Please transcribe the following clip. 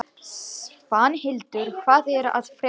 Svanhildur, hvað er að frétta?